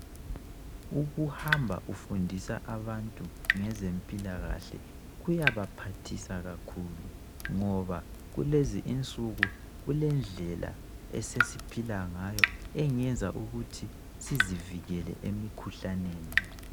Ukuhamba ufundisa abantu ngezempilakahle kuyabaphathisa kakhulu ngoba kulezi insuku kulendlela esesiphila ngayo engenza ukuthi sizivikele emikhuhlaneni.